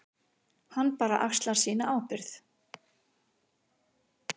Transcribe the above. Hann bara axlar sína ábyrgð.